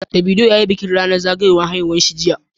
Davido ya yi bikin zagayowa ranar haihuwar shi jiya